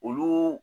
Olu